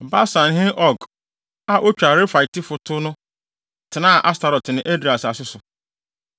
Basanhene Og a otwa Refaitefo to no tenaa Astarot ne Edrei asase so.